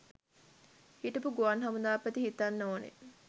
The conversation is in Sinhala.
හිටපු ගුවන් හමුදාපති හිතන්න ඕනැ